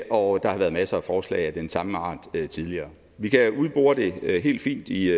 og der har været masser af forslag af den samme art tidligere vi kan udbore det helt fint i